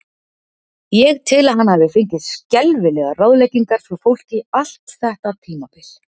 Ég tel að hann hafi fengið skelfilegar ráðleggingar frá fólki allt þetta tímabil.